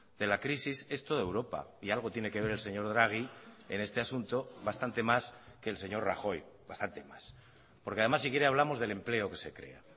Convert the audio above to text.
de la crisis es toda europa y algo tiene que ver el señor draghi en este asunto bastante más que el señor rajoy bastante más porque además si quiere hablamos del empleo que se crea